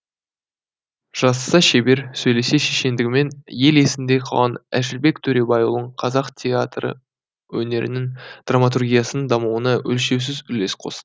жазса шебер сөйлесе шешендігімен ел есінде қалған әшірбек төребайұлы қазақ театр өнерінің драматургиясының дамуына өлшеусіз үлес қосты